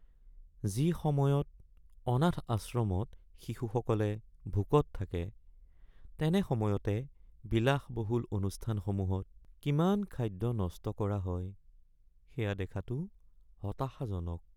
যি সময়ত অনাথ আশ্ৰমত শিশুসকলে ভোকত থাকে তেনে সময়তে বিলাসবহুল অনুষ্ঠানসমূহত কিমান খাদ্য নষ্ট কৰা হয় সেয়া দেখাটো হতাশাজনক